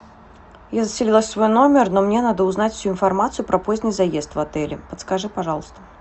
я заселилась в свой номер но мне надо узнать всю информацию про поздний заезд в отеле подскажи пожалуйста